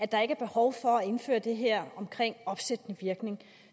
der ikke er behov for at indføre det her omkring opsættende virkning